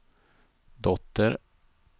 dotter